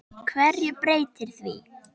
HVERJU BREYTIR ÞAÐ?